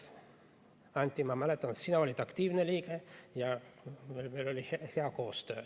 Anti, ma mäletan, siis sina olid aktiivne liige ja meil oli hea koostöö.